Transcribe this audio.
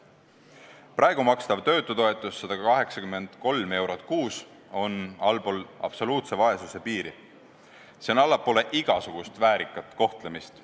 Praegu makstav töötutoetus 183 eurot kuus on allpool absoluutse vaesuse piiri, see jääb allapoole igasugust väärikat kohtlemist.